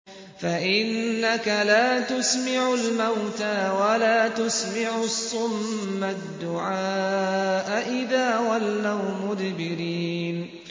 فَإِنَّكَ لَا تُسْمِعُ الْمَوْتَىٰ وَلَا تُسْمِعُ الصُّمَّ الدُّعَاءَ إِذَا وَلَّوْا مُدْبِرِينَ